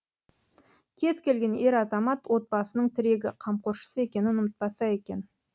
кез келген ер азамат отбасының тірегі қамқоршысы екенін ұмытпаса екен